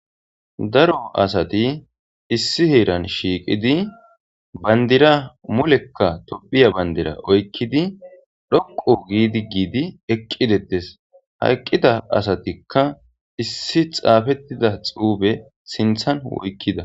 Daro asati issi heeran shiiqidi bandira mulekka tophiya bandira oykkidi dhoqo giidi giidi eqqidetes hayqqida asatikka issi xaafettida xuube sinthan woykkida.